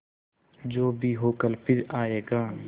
जो भी हो कल फिर आएगा